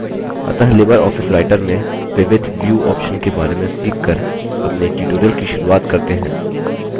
अतः LibreOffice writer में विविध view options के बारे में सीख कर अपने tutorial की शुरूआत करते हैं